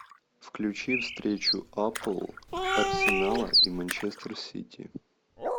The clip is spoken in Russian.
включи встречу апл арсенала и манчестер сити